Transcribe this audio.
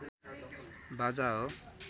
बाजा हो